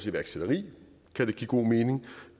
iværksætteri kan give god mening